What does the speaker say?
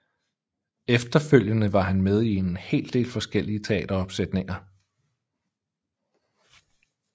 Efterfølgende var han med i en del forskellige teateropsætninger